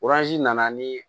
nana ni